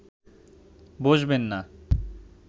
বসবেন না